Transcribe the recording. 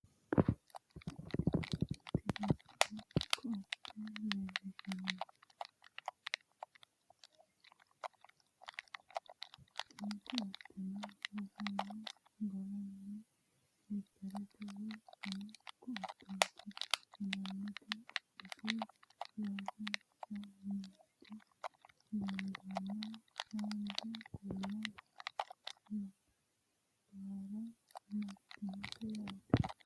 tini misile ko"atte leellishshanno tini ko"atteno rosamino garinni silipperete woye fano ko"atteeti yinannite qodunni loonsoonnite danaseno haanja kuula labbara martinote yaate